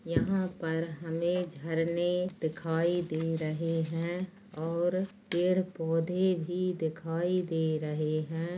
यहाँ पर हमे झरने दिखाई दे रहे है और पेड़ पौधे भी दिखाई दे रहे है।